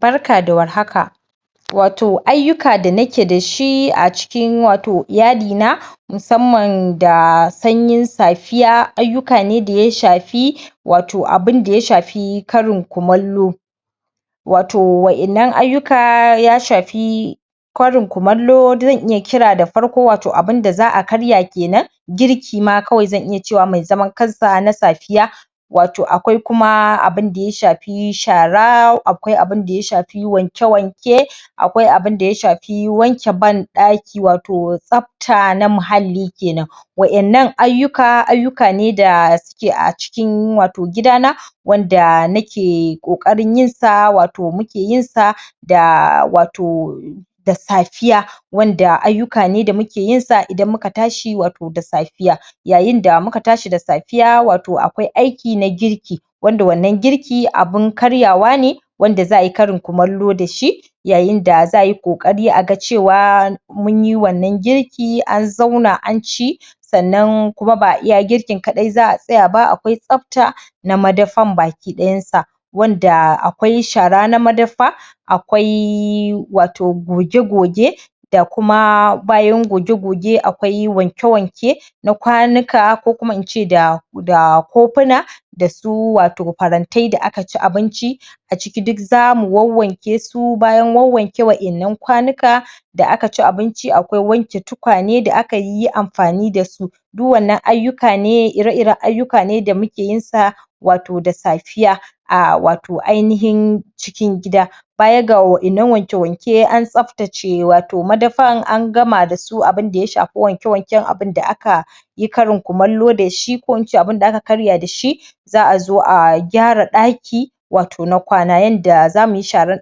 Barka da warhaka. Watau ayyuka da nake da shi a cikin watau iyali na musamman da sanyin safiya ayyuka ne da ya shafi? karin kumallo watau wa'innan ayyukaya shafi kari kumallo zan iya kira da farko watau abinda za a karya kenan, girki ma kawai zan iya cewa mai zaman kansa na safiya watau akwai kuma abinda ya shafi shara, akwai abinda ya shafi wanke-wanke, akwai abinda ya shafi wanke ban ɗaki watau tsafta na muhalli kenan. Wa’innan ayyuka ayyuka ne da suke a cikin watau gida na wanda nake ƙoƙari yinsa? wanda ayyuka ne da muke yin sa idan muka tashi watau da safiya Yayin da muka tashi da safiya watau akwai aiki na girki wanda wannan girki abun karyawa ne wanda za ayi karin kumallo da shi yayin da za ayi ƙoƙari a ga cewa munyi wannan girki an zauna an ci sannan kuma ba iya girkin za a tsaya ba, akwai tsafta na madafan gaba dayan sa wanda akwai shara na madafa, akwai watau goge-goge? Bayan goge-goge akwai wanke-wanke na kwanuka ko kuma ince da kofuna da kuma farantai da aka ci abinci a ciki duk zamu wanwanke su. Bayan wanwanke wa’innan kwanuka da aka ci abinci, akwai wanke tukwane da aka yi amfani da su. Duk wannan ayyuka ne ire-iren ayyuka ne da muke yin sa watau da safiya a watau ainihin cikin gida. Baya ga wa’innan wanke-wanke da tsaftace madafan an gama da abinda ya shafi wanke-wanken abinda aka yi karin kumallo da shi ko in ce abinda aka karya da shi, za a zo a gyara ɗaki watau na kwana yadda zamu yi sharan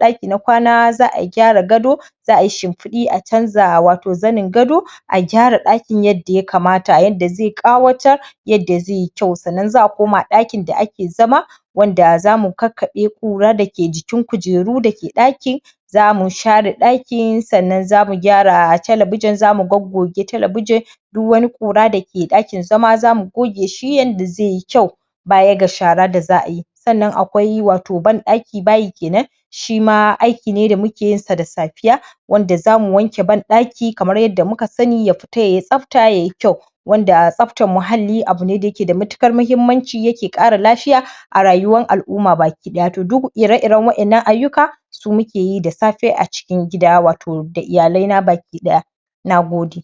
ɗaki na kwana, za a gyara gado, za ayi shimfidi a canza watau zanin gado, a gyara ɗakin yadda ya kamata yadda zai ƙawatar yadda zai yi kyau. Sannan za a koma ɗakin da ake zama wanda zamu kakkaɓe ƙura da ke jikin kujeru dake ɗakin, zamu share ɗakin sannan zamu gyara telebijin zamu goggoge telebijin, duk wani ƙura da ke ɗakin zama zamu goge shi yadda zai yi kyau baya ga shara da za ayi. Sannan watau akwai bayi watau ban ɗaki kenan shima aiki ne da muke yin sa da safiya wanda zamu wanke ban ɗaki kamar yadda muka sami, ya fita yayi tsafta yayi kyau wanda tsaftan muhalli abu ne da yake da matuƙar mahimmanci, yake ƙara lafiya a rayuwan al’umma baki daya. To duk ire-iren wa’innan ayyuka su muke yi da safe a ciki gida watau da iyalai na baki ɗaya, Nagode.